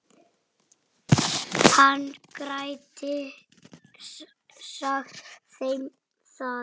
Í loftinu sveimar róandi kyrrð.